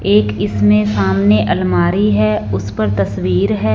एक इसमें सामने अलमारी है उस पर तस्वीर है।